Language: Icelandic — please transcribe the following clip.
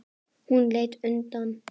Hún leit undan.